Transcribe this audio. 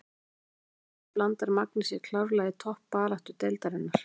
Ef það gengur eftir blandar Magni sér klárlega í toppbaráttu deildarinnar!